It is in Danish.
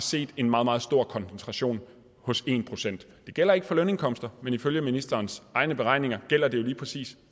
set en meget meget stor koncentration hos den ene procent det gælder ikke for lønindkomster men ifølge ministerens egne beregninger gælder det jo lige præcis